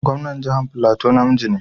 Gwamnan jihar Filato na miji ne.